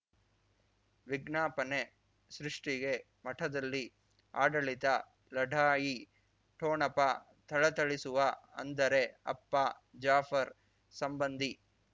ವಿಜ್ಞಾಪನೆ ಸೃಷ್ಟಿಗೆ ಮಠದಲ್ಲಿ ಆಡಳಿತ ಲಢಾಯಿ ಠೊಣಪ ಥಳಥಳಿಸುವ ಅಂದರೆ ಅಪ್ಪ ಜಾಫರ್ ಸಂಬಂಧಿ